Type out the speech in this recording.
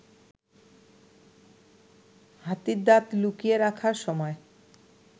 হাতির দাঁত লুকিয়ে রাখার সময়